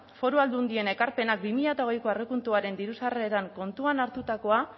foru aldundien ekarpenak bi mila hogeiko aurrekontuaren diru sarreretan kontuan hartutakoa